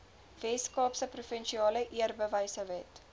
weskaapse provinsiale eerbewysewet